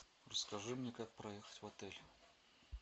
расскажи мне как проехать в отель